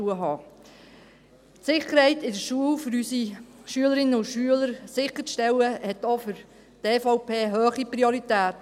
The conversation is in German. Auch für die EVP hat es eine hohe Priorität, die Sicherheit unserer Schülerinnen und Schüler in der Schule sicherzustellen.